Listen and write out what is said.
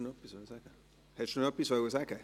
Antonio Bauen, wollen Sie noch etwas sagen?